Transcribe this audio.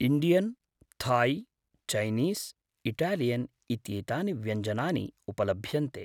Indian, Thai, Chinese, Italian इत्येतानि व्यञ्जनानि उपलभ्यन्ते ।